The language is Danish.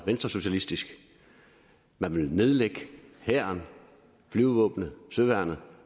venstresocialistisk man vil nedlægge hæren flyvevåbnet og søværnet